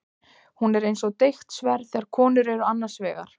Hún er eins og deigt sverð þegar konur eru annars vegar.